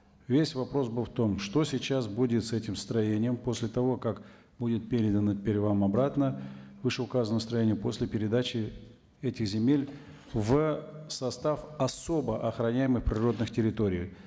весь вопрос был в том что сейчас будет с этим строением после того как будет передана вам обратно вышеуказанного строения после передачи этих земель в состав особо охраняемых природных территорий